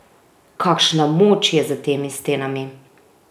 Kakšna moč je za temi stenami!